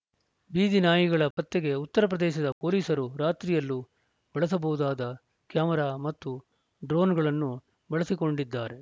ಬೀದಿ ನಾಯಿಗಳ ಪತ್ತೆಗೆ ಉತ್ತರ ಪ್ರದೇಶದ ಪೊಲೀಸರು ರಾತ್ರಿಯಲ್ಲೂ ಬಳಸಬಹುದಾದ ಕ್ಯಾಮರಾ ಮತ್ತು ಡ್ರೋನ್‌ಗಳನ್ನು ಬಳಸಿಕೊಂಡಿದ್ದಾರೆ